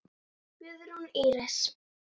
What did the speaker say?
Guðrún Íris.